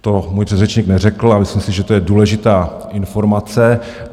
To můj předřečník neřekl a myslím si, že to je důležitá informace.